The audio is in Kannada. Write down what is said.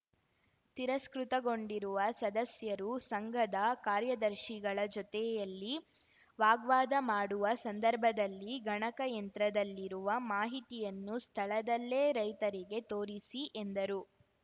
ತಿರಸ್ಕೃತಗೊಂಡಿರುವ ಸದಸ್ಯರು ಸಂಘದ ಕಾರ್ಯದರ್ಶಿಗಳ ಜೊತೆಯಲ್ಲಿ ವಾಗ್ವಾದ ಮಾಡುವ ಸಂದರ್ಭದಲ್ಲಿ ಗಣಕ ಯಂತ್ರದಲ್ಲಿರುವ ಮಾಹಿತಿಯನ್ನು ಸ್ಥಳದಲ್ಲೇ ರೈತರಿಗೆ ತೋರಿಸಿ ಎಂದರು